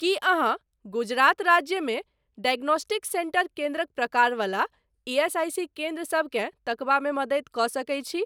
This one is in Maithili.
कीअहाँ गुजरात राज्यमे डायग्नोस्टिक सेंटर केन्द्रक प्रकार वला ईएसआईसी केन्द्र सबकेँ तकबामे मदति कऽ सकैत छी?